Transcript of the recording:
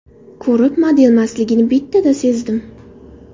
Ko‘rib, modelmasligini bittada sezdim.